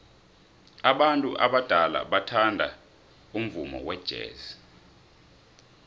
abantu abadala bathanda umvumo wejazz